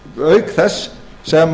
auk þess sem